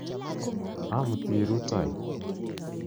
Amuti rutoi .